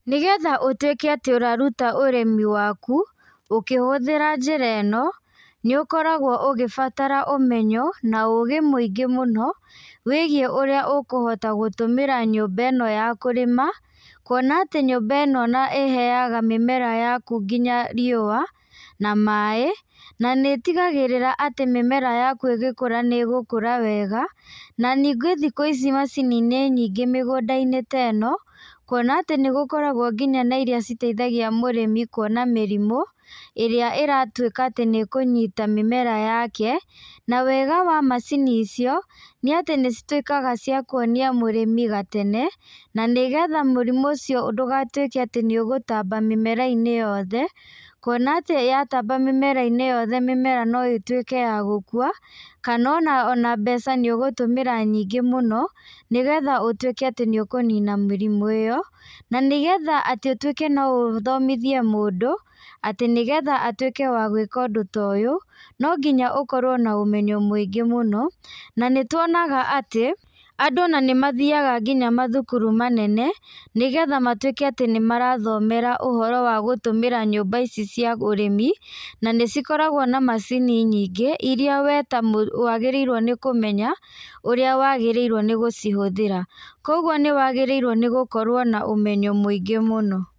Nĩgetha ũtwĩke atĩ ũraruta ũrĩmi waku, ũkĩhũthĩra njĩra ĩno, nĩũkoragwo ũgĩbatara ũmenyo na ũgĩ mũingĩ mũno wĩgiĩ ũrĩa ũkũhota gũtũmĩra nyũmba ĩno ya kũrĩma, kuona atĩ nyũmba ĩno ĩheaga mĩmera yaku nginya riũa, na maĩ, nanĩtigagĩrĩra atĩ mĩmera yaku ĩgĩkũra nĩgũkũra wega, na ningĩ thikũ ici macini nĩ nyingĩ mĩgũnda-inĩ teno, kuona atĩ nĩgũkoragwo nginya na iria citeithagia mũrĩmi kuona mĩrimũ, ĩrĩa ĩratwĩka atĩ nĩkũnyita mĩmera yake, na wega wa macini icio, nĩatĩ nĩcitwĩkaga cia kuonia mũrĩmi gatene, na nĩgetha mũrimũ ũcio ndũgatwĩke atĩ nĩũgũtamba mĩmera-inĩ yothe, kuona atĩ yatamba mĩmera-inĩ yothe mĩmera noĩtwĩke ya gũkua, kanona ona mbeca nĩũtũmĩra nyingĩ mũno, nĩgetha ũtwĩke atĩ nĩũkũnina mũrimũ ĩyo, na nĩgetha atĩ ũtwĩke noũthomithie mũndũ, atĩ nĩgetha atwĩke wa gwĩka ũndũ ta ũyũ, nonginya ũkorwo na ũmenyo mũingĩ mũno, nanĩtuonaga atĩ, andũ nanĩmathiaga nginya mathukuru manene nĩgetha matwĩke atĩ nĩmarathomera ũhoro wa gũtũmĩra nyũmba ici cia ũrĩmi, na nĩcikoragwo na macini nyingĩ, iria we ta mũ wagĩrĩirwo nĩ kũmenya, ũrĩa wagĩrĩirwo nĩ gũcihũthĩra, koguo nĩwagĩrĩirwo nĩ gũkorwo na ũmenyo mũingĩ mũno.